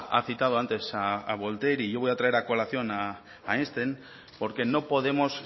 ha citado antes a voltaire y yo voy a traer a colación a einstein porque no podemos